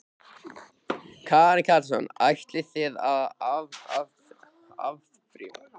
Karen Kjartansdóttir: Ætlið þið að áfrýja?